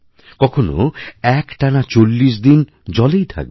কখনও একটানা চল্লিশ দিন জলেই থাকবে